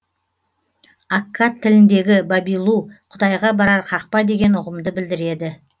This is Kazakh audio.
аккад тіліндегі бабилу құдайға барар қақпа деген ұғымды білдіреді